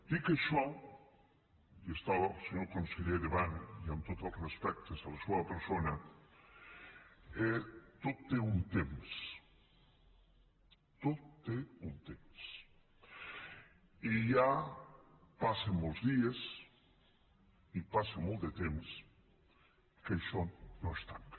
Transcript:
dit això i està el senyor conseller davant i amb tots els respectes a la seua persona tot té un temps tot té un temps i ja passen molts dies i passa molt de temps que això no es tanca